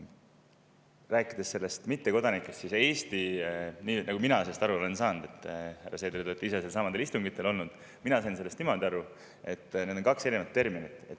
Rääkides mittekodanikest, siis nii nagu mina sellest aru olen saanud – härra Seeder, te olete ise nendelsamadel istungitel olnud –, siis need on kaks erinevat terminit.